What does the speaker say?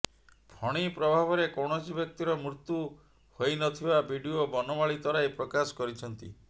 ଫଣି ପ୍ରଭାବରେ କୈାଣସି ବ୍ୟକ୍ତିର ମୃତ୍ୟୁ ହୋଇନଥିବା ବିଡିଓ ବନମାଳୀ ତରାଇ ପ୍ରକାଶ କରିଛନ୍ତି